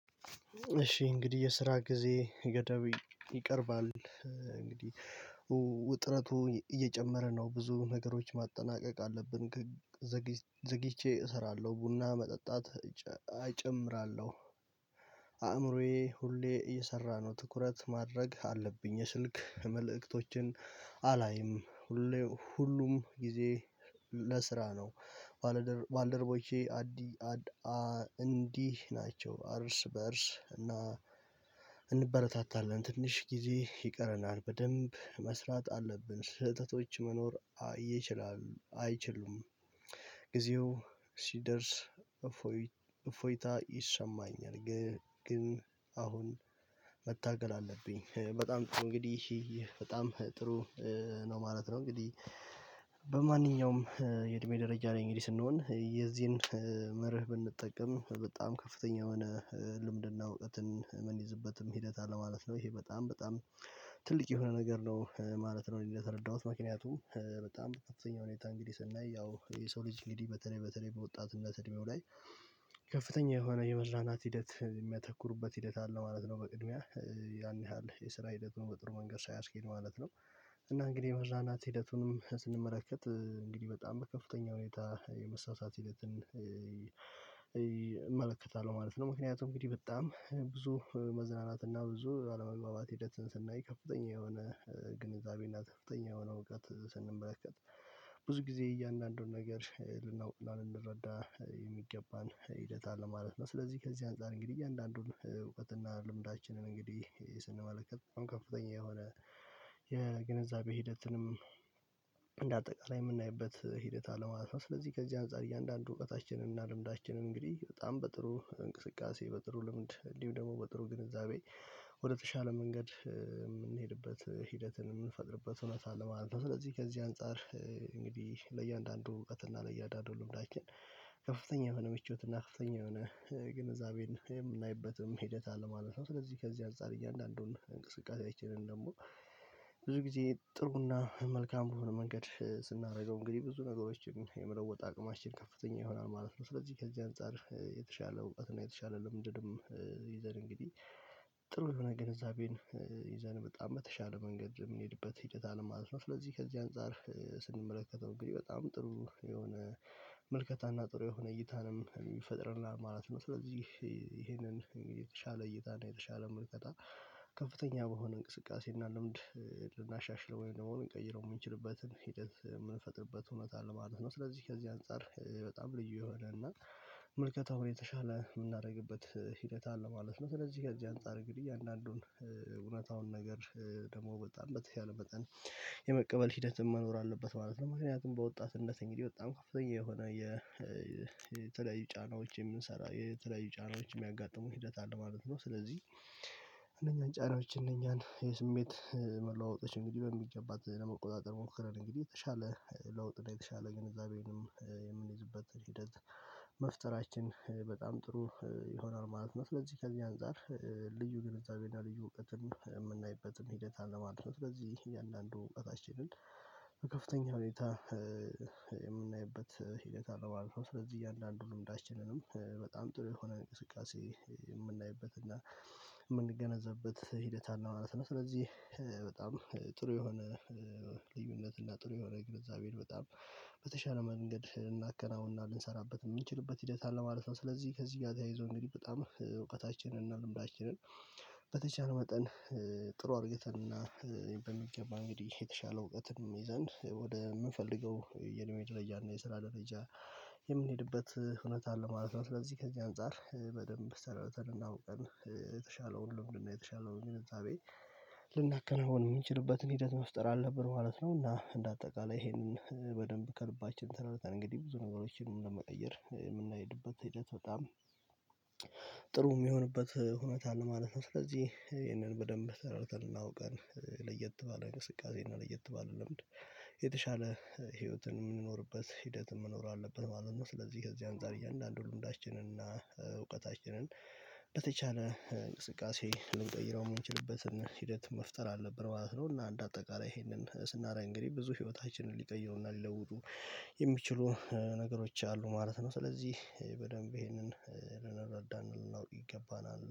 እሺ እንግዲህ የስራ ጊዜ ገዳብ ይቀርባል። እንግዲህ ውጥረቱ እየጨመረ ነው ብዙ ነገሮች ማጠናቀቅ አለብን። ዘግይቼ እሰራለሁ ቡና መጠጣት እጨምራለሁ። አእምሮዬ ሁሌ እየሰራ ነው ትኩረት ማድረግ አለብኝ። የስንክ መልእክቶችን አላይም። ሁሌ ሁሉም ጊዜ ለስራ ነው። ባለደር ባለደርቦቼ አዲ አድ እንዲህ ናቸው አርስ በአርስ እና። እንበረታታለን ትንሽ ጊዜ ይቀረናል በደንብ መስራት አለብን። ስህተቶች መኖር አይችሉም። ጊዜው ሲደርስ እፎይታ ይሰማኛል። ግን አሁን መታገል አለብኝ። በጣም እንግዲህ በጣም ጥሩ ነው ማለት ነው። እንግዲህ በማንኛውም የእድሜ ደረጃ ላይ እንግዲህ ስንሆን የዚህን መርህ ብንጠቀም በጣም ከፍተኛ የሆነ ልምድና እውቀትን ምን ይዝበትም ሂደት አለ ማለት ነው። ይሄ በጣም በጣም ትልቅ የሆነ ነገር ነው ማለት ነው። እንደተረዳሁት ምክንያቱም በጣም ከፍተኛ ሁኔታ እንግዲህ ስናይ ያው የሰው ልጅ እንግዲህ በተለይ በተለይ በወጣትነት እድሜው ላይ ከፍተኛ የሆነ የመራናት ሂደት የሚያተኩሩበት ሂደት አለ ማለት ነው። በቅድሚያ ያን ያህል የስራ ሂደቱን በጥሩ መንገድ ሳያስኬድ ማለት ነው። እና እንግዲህ መዝናናት ሂደቱንም ስንመረከት እንግዲህ በጣም በከፍተኛ ሁኔታ የመሳሳት ሂደትን እመለከታለሁ ማለት ነው። ምክንያቱም እንግዲህ በጣም ብዙ መዝናናት እና ብዙ አለመግባባት ሂደትን ስናይ ከፍተኛ የሆነ ግንዛቤ እና ከፍተኛ የሆነ እውቀት ስንመለከት ብዙ ጊዜ እያንዳንዱን ነገር ልናውቅ እና ልንረዳ የሚገባን ሂደት አለ ማለት ነው። ስለዚህ ከዚህ አንፃር እንግዲህ አንዳንዱን እውቀትና ልምዳችንን እንግዲህ ስንመለከት በጣም ከፍተኛ የሆነ የግንዛቤ ሂደትንም እንደ አጠቃላይ የምናይበት ሂደት አለ ማለት ነው። ስለዚህ ከዚህ አንፃር እያንዳንዱ እውቀታችንን እና ልምዳችንን እንግዲህ በጣም በጥሩ እንቅስቃሴ በጥሩ ልምድ እንዲሁ ደግሞ በጥሩ ግንዛቤ ወደተሻለ መንገድ የምንሄድበት ሂደትን የምንፈጥርበት እውነት አለ ማለት ነው። ስለዚህ ከዚህ አንፃር እንግዲህ ለእያንዳንዱ እውቀት እና ለእያንዳንዱ ልምዳችን ከፍተኛ የሆነ ምቾት እና ከፍተኛ የሆነ ግንዛቤን የምናይበትም ሂደት አለ ማለት ነው። ስለዚህ ከዚህ አንፃር እያንዳንዱን እንቅስቃሴያችንን ደግሞ ብዙ ጊዜ ጥሩና መልካም በሆነ መንገድ ስናደርገው እንግዲህ ብዙ ነገሮችን የመለወጥ አቅማችን ከፍተኛ ይሆናል ማለት ነው። ስለዚህ ከዚህ አንፃር የተሻለ እውቀትና የተሻለ ለምንድንም ይዘን እንግዲህ ጥሩ የሆነ ግንዛቤን ይዘን በጣም በተሻለ መንገድ የምንሄድበት ሂደት አለን ማለት ነው። ስለዚህ ከዚህ አንፃር ስንመለከተው እንግዲህ በጣም ጥሩ የሆነ መልከታና ጥሩ የሆነ እይታንም ይፈጥርናል ማለት ነው። ስለዚህ ይሄንን የተሻለ እይታና የተሻለ ምልከታ ከፍተኛ በሆነ እንቅስቃሴ እና ልምድ ልናሻሽለው ወይም ደግሞ ልንቀይረው የምንችልበትን ሂደት የምንፈጥርበት እውነት አለ ማለት ነው። ስለዚህ ከዚህ አንፃር በጣም ልዩ የሆነ እና ምልከታውን የተሻለ የምናደርግበት ሂደት አለ ማለት ነው። ስለዚህ ከዚህ አንፃር ግድያ አንዳንዱን እውነታውን ነገር ደግሞ በጣም በተሻለ መጠን የመቀበል ሂደትም መኖር አለበት ማለት ነው። ምክንያቱም በወጣትነት እንግዲህ እንዲ በወጣም ከፍተኛ የሆነ የለያዩ ጫናዎች የምንሰራ የተለያዩ ጫናዎች የሚያጋጥሙ ሂደት አለ ማለት ነው። ስለዚህ አንደኛ ጫናዎች እነኛን የስሜት መለዋወጥሽ እንግዲህ በሚገባት ለመቆጣጠር ሞክረን እንግዲህ የተሻለ ለውጥ ነው የተሻለ ግንዛቤንም የምንይዝበት ሂደት መፍጠራችን በጣም ጥሩ ይሆናል ማለት ነው። ስለዚህ ከዚህ አንፃር ልዩ ግንዛቤና ልዩ እውቀትም የምናይበትም ሂደት አለማለት ነው። ስለዚህ ይህ እያንዳንዱ እውቀታችንን በከፍተኛ ሁኔታ የምናይበት ሂደት አለው ማለት ነው። ስለዚህ እያንዳንዱን ልምዳችንንም በጣም ጥሩ የሆነ እንቅስቃሴ የምናይበት እና የምንገነዘብበት ሂደት አለው ማለት ነው። ስለዚህ በጣም ጥሩ የሆነ ልዩነት እና ጥሩ የሆነ ግንዛቤን በጣም በተሻለ መንገድ እናከናውና ልንሰራበት የምንችልበት ሂደት አለ ማለት ነው። ስለዚህ ከዚህ ጋር ተያይዞ እንግዲህ በጣም እውቀታችንን እና ልምዳችንን በተቻለ መጠን ጥሩ አድርግተንን እና በሚገባ እንግዲህ የተሻለ እውቀትንም ይዘን ወደ የምንፈልገው የእድሜ ደረጃ እና የስራ ደረጃ የምንሄድበት ሁውነት አለ ማለት ነው። ስለዚህ ከዚህ አንፃር በደንብ ሰረተን አውቀን የተሻለውን ልውምድና የተሻለውን ግንዛቤ ልናከናውን የምንችልበትን ሂደት መፍጠር አለብን ማለት ነውና። እንደ አጠቃላይ ይሄንን በደንብ ከልባችን ተረድተን እንግዲህ ብዙ ነገሮችን ለመቀየር የምንሄድበት ሂደት በጣም ጥሩ የሚሆንበት ሁኔታ አለ ማለት ነው። ስለዚህ ይህንን በደንብ ተረድተን እና አውቀን ለየት ባለ እንቅስቃሴ እና ለየት ባለ ልምድ የተሻለ ህይወትን የምንኖርበት ሂደት መኖር አለብን ማለት ነው። ስለዚህ ከዚህ አንዳንድ እያንዳንዱ ልምዳችንን እና እውቀታችንን በተቻለ እንቅስቃሴ ልንጠይረው የምንችልበትን ሂደት መፍጠር አለበት ማለት ነው። እና አንድ አጠቃላይ ይሄንን ስናረግ እንግዲህ ብዙ ህይወታችንን ሊቀየውና ሊለውጡ የሚችሉ ነገሮች አሉ ማለት ነው። ስለዚህ በደንብ ይሄንን ልንረዳን ነው ይገባናል